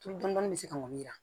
Tulu dɔɔni dɔɔni bɛ se ka ŋɔni yira